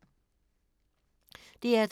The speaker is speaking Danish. DR2